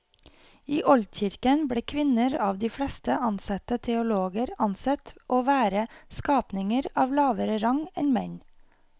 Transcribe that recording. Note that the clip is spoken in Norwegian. I oldkirken ble kvinner av de fleste ansette teologer ansett å være skapninger av lavere rang enn menn.